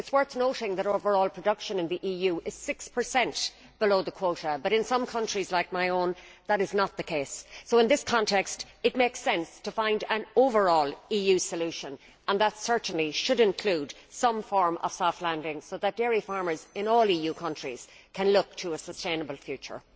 It is worth noting that overall production in the EU is 6 below the quota but in some countries like my own that is not the case. In this context it makes sense to find an overall EU solution, and that certainly should include some form of soft landing so that dairy farmers in all EU countries can look to a sustainable future.